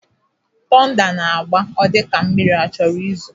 Tọnda na-agba, ọ dịka mmiri achọrọ izo